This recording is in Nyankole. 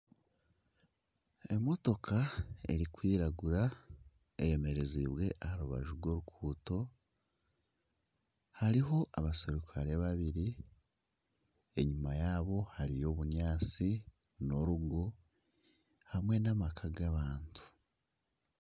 Emotooka erikwiragura eyemerezibwe aha rubaju rw'oruguuto hariho abasirukare babiri enyuma yaabo hariyo obunyaatsi n'orugo hamwe n'amaka g'abantu.